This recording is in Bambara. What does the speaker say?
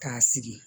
K'a sigi